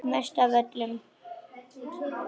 Mest af öllum.